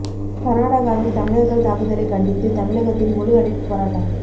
கர்நாடகாவில் தமிழர்கள் தாக்குதலை கண்டித்து தமிழகத்தில் முழு அடைப்பு போராட்டம்